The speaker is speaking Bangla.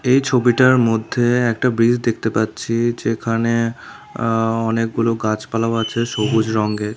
এই ছবিটার মধ্যে একটা ব্রিজ দেখতে পাচ্ছি যেখানে আ অনেকগুলো গাছপালাও আছে সবুজ রঙ্গের।